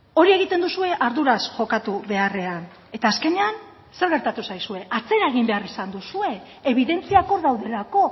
hori egiten duzue arduraz jokatu beharrean eta azkenean zer gertatu zaizue atzera egin behar izan duzue ebidentziak hor daudelako